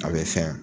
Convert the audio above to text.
A bɛ fɛn